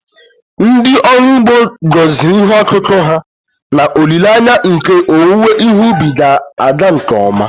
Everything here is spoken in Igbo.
Ndị ọrụ ugbo gọziri ihe ọkụkụ ha n’olileanya nke owuwe ihe ubi ga-aga nke ọma